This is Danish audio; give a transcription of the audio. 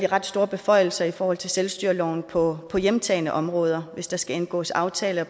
ret store beføjelser i forhold til selvstyreloven på hjemtagne områder hvis der skal indgås aftaler